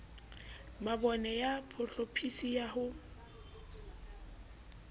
mabone ya bohlophisi ya ho